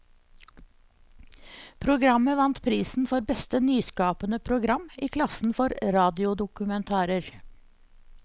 Programmet vant prisen for beste nyskapende program i klassen for radiodokumentarer.